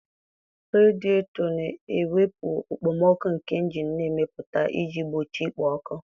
Radịetọ na-ewepụ okpomọkụ nke injin na-emepụta iji gbochie ikpo ọkụ.